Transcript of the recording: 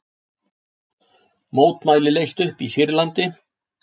Mótmæli leyst upp í Sýrlandi